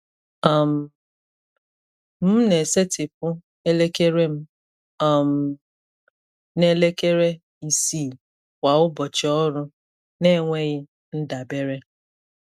um M na-esetịpụ elekere m um n’elekere isii kwa ụbọchị ọrụ n’enweghị ndabere.